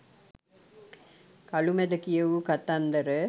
කළුමැද කියවූ කතන්දර